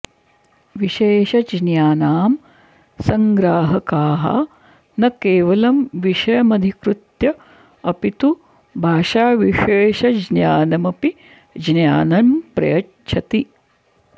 विशेषज्ञानां सङ्ग्राहकाः न केवलं विषयमधिकृत्य अपि तु भाषाविशेषज्ञानामपि ज्ञानं प्रयच्छति